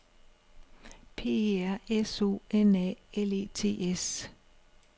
P E R S O N A L E T S